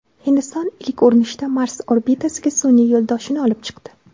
Hindiston ilk urinishda Mars orbitasiga sun’iy yo‘ldoshini olib chiqdi.